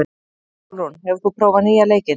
Sólrún, hefur þú prófað nýja leikinn?